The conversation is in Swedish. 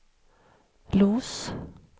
Los